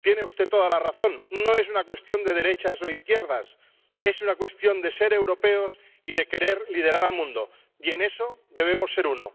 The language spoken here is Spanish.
—tiene usted toda la razón—, no es una cuestión de derechas o de izquierdas, es una cuestión de ser europeos y de querer liderar al mundo y en eso debemos ser uno.